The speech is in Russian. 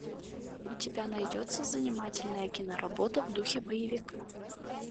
у тебя найдется занимательная киноработа в духе боевика